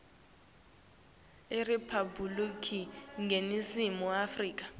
iriphabhulikhi yeningizimu afrika